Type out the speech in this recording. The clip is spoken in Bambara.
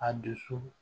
A dusu